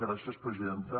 gràcies presidenta